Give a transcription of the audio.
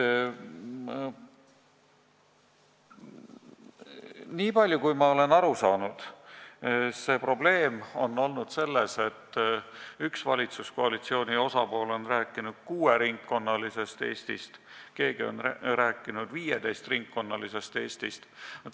Niipalju, kui ma olen aru saanud, on probleem olnud selles, et üks valitsuskoalitsiooni osapool on rääkinud kuueringkonnalisest Eestist, keegi on rääkinud 15-ringkonnalisest Eestist.